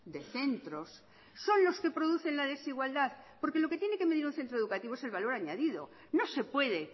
de centros son los que producen la desigualdad porque lo que tiene que medir un centro educativo es el valor añadido no se puede